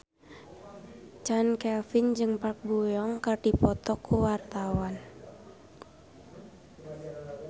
Chand Kelvin jeung Park Bo Yung keur dipoto ku wartawan